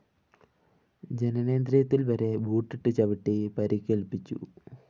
ജനനേന്ദ്രിയത്തില്‍ വരെ ബൂട്ടിട്ട്‌ ചവിട്ടി പരിക്കേല്‍പ്പിച്ചു